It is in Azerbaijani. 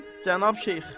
Cənab Şeyx.